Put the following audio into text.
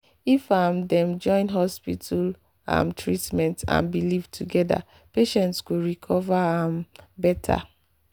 if um dem join hospital um treatment and belief together patients go recover um better.